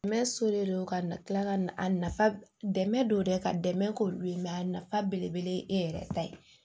Mɛ so de don ka tila ka a nafa dɛmɛ don dɛ ka dɛmɛ k'olu ye a nafa belebele ye e yɛrɛ ta ye